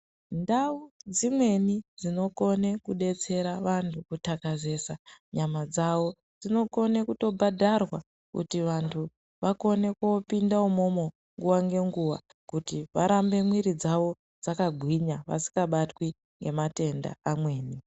Ndau dzimweni dzinokone kudetsera vantu kuthakazesa nyama dzawo, dzinokone kutobhadharwa, kuti vantu vakone kopinda imwomwo nguwa nenguwa kuti ,varambe mwiri dzawo dzakagwinya, vasikabatwi ngematenda amweni.